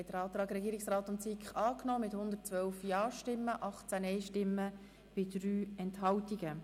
Sie haben den Antrag Regierungsrat/SiK angenommen mit 112 Ja- zu 18 Nein-Stimmen bei 3 Enthaltungen.